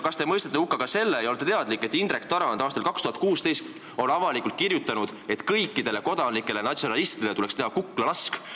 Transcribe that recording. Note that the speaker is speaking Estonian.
Kas te olete teadlik ka sellest ja mõistate selle hukka, et Indrek Tarand kirjutas aastal 2016 avalikult, et kõikidele kodanlikele natsionalistidele tuleks kuklalask teha?